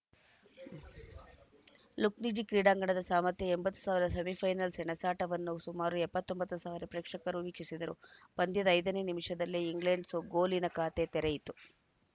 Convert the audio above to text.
Luzhniki ಕ್ರೀಡಾಂಗಣದ ಸಾಮರ್ಥ್ಯ ಎಂಬತ್ ಸಾವಿರ ಸೆಮಿಫೈನಲ್‌ ಸೆಣಸಾಟವನ್ನು ಸುಮಾರು ಎಪ್ಪತ್ತೊಂಬತ್ತು ಸಾವಿರ ಪ್ರೇಕ್ಷಕರು ವೀಕ್ಷಿಸಿದರು ಪಂದ್ಯದ ಐದನೇ ನಿಮಿಷದಲ್ಲೇ ಇಂಗ್ಲೆಂಡ್‌ ಸಗೋಲಿನ ಖಾತೆ ತೆರೆಯಿತು